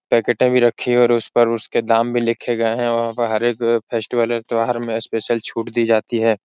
पेकेटें भी रखी हैं और उस पर उसके दाम भी लिखे गए हैं। वहां पर हर एक फेस्टिवल और त्यौहार में स्पेशल छुट दी जाती है।